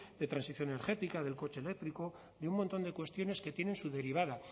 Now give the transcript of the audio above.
de transición energética del coche eléctrico de un montón de cuestiones que tienen su derivada